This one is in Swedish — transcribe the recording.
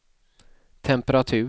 temperatur